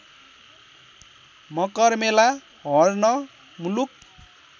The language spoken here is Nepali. मकरमेला हर्न मुलुक